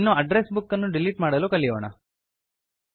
ಇನ್ನು address book ಅನ್ನು delete ಮಾಡಲು ಕಲಿಯೋಣ